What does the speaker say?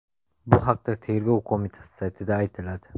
Bu haqda Tergov qo‘mitasi saytida aytiladi .